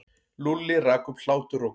Lúlli rak upp hláturroku.